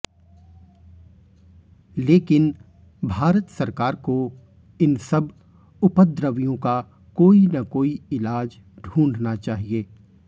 लेकिन भारत सरकार को इन सब उपद्रवियों का कोई न कोई इलाज ढूंढना चाहिए